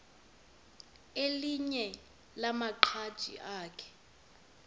elinye lamaqhaji akhe